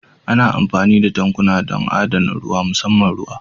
Ana amfani da tankuna don adana ruwa musamman ruwa